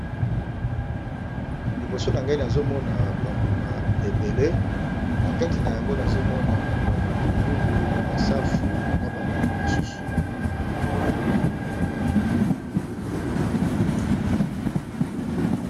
Liboso na ngai nazomona ba mbuma ebele na kati na yango nazomona ba matungulu, ba safu na ba mbuma mosusu.